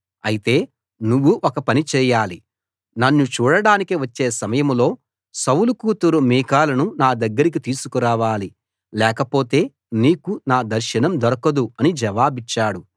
అయితే నువ్వు ఒక పని చేయాలి నన్ను చూడడానికి వచ్చే సమయంలో సౌలు కూతురు మీకాలును నా దగ్గరికి తీసుకురావాలి లేకపోతే నీకు నా దర్శనం దొరకదు అని జవాబిచ్చాడు